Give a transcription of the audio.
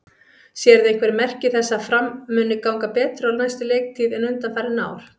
Sérðu einhver merki þess að Fram muni ganga betur á næstu leiktíð en undanfarin ár?